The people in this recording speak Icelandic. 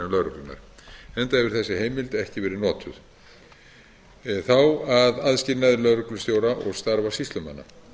hefur þessi heimild ekki verið notuð þá að aðskilnaði lögreglustjóra og starfa sýslumanna